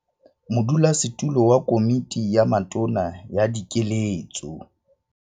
Modulasetulo wa Komiti ya Matona ya Dikeletso